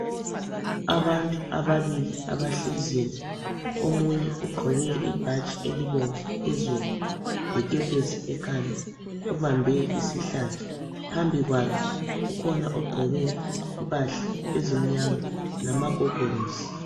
Abantu ababili abahleziyo, omunye ugqoke ibhatshi elibomvu phezulu lekepesi ekhanda, ubambe isihlathi. Phambi kwakhe kukhona oqgoke impahla ezimnyama lamagogorosi.